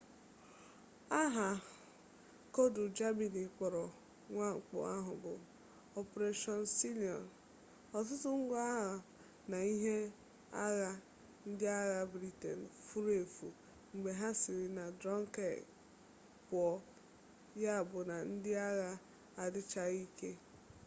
aha koodu germany kpọrọ mwakpo ahụ bụ operation sealion ọtụtụ ngwa agha na ihe agha ndị agha britain furu efu mgbe ha siri na dunkirk pụọ yabụ na ndị agha adịchaghị ike